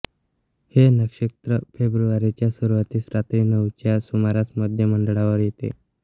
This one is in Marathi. हे नक्षत्र फेब्रुवारीच्या सुरुवातीस रात्री नऊच्या सुमारास मध्यमंडळावर येते